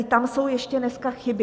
I tam jsou ještě dneska chyby.